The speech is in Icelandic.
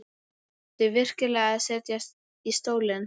Átti ég virkilega að setjast í stólinn?